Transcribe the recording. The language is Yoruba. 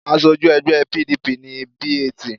Aṣojú ẹgbẹ́ PDP ni B.A.T.